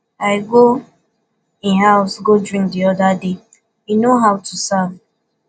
i go im house go drink the other day he know how to serve